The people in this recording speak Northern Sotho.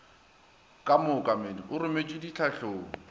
ka mookamedi o rometšwe ditlhahlong